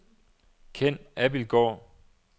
Ken Abildgaard